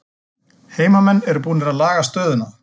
Heimamenn eru búnir að laga stöðuna